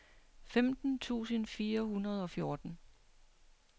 femten tusind fire hundrede og fjorten